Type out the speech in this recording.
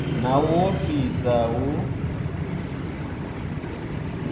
na u ofhisa hu a